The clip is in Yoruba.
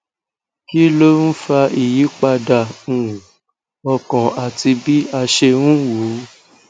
kí ló ń fa ìyípadà um ọkàn àti bí a ṣe ń wo ó